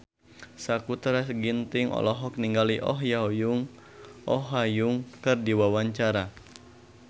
Sakutra Ginting olohok ningali Oh Ha Young keur diwawancara